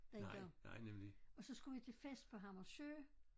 Dengang og så skulle vi til fest på Hammersø